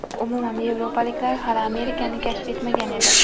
Umuman yevropaliklar hali Amerikani kashf etmagan edi.